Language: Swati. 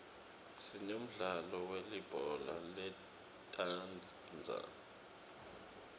sinemdlalo welibhola letandza